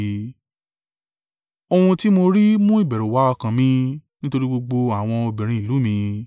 Ohun tí mo rí mú ìbẹ̀rù wá ọkàn mi nítorí gbogbo àwọn obìnrin ìlú mi.